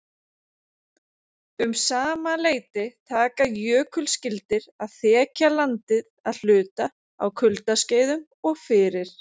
Um sama leyti taka jökulskildir að þekja landið að hluta á kuldaskeiðum og fyrir